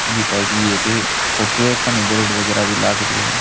बी type की एक photo है एक कानी बोर्ड वगैरा भी लाग रयो है।